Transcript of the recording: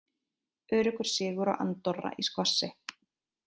Öruggur sigur á Andorra í skvassi